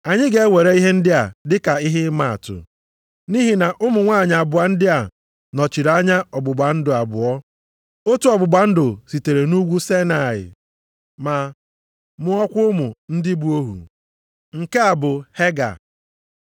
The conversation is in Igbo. Anyị ga-ewere ihe ndị a dị ka ihe ịmaatụ, nʼihi na ụmụ nwanyị abụọ ndị a nọchiri anya ọgbụgba ndụ abụọ. Otu ọgbụgba ndụ sitere nʼUgwu Saịnaị ma mụọkwa ụmụ ndị bụ ohu: nke a bụ Hega.